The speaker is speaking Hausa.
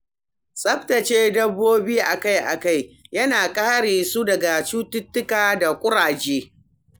Tsaftace dabbobi akai-akai yana kare su daga cututtuka da ƙuraje.